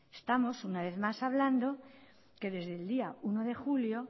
estamos una vez más hablando que desde el día uno de julio